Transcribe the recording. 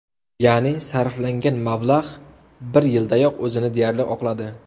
Ya’ni, sarflangan mablag‘ bir yildayoq o‘zini deyarli oqladi.